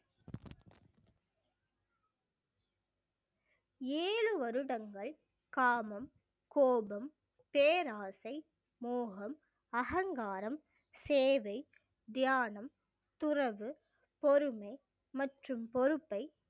ஏழு வருடங்கள் காமம் கோபம் பேராசை மோகம் அகங்காரம் சேவை தியானம் துறவு பொறுமை மற்றும் பொறுப்பை